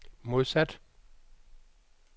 modsat